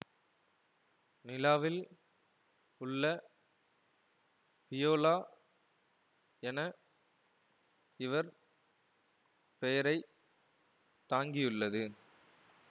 நிலாவில் உள்ள பியொலா என இவர் பெயரை தாங்கியுள்ளது